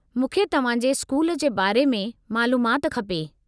मूंखे तव्हां जे स्कूल जे बारे में मालूमाति खपे।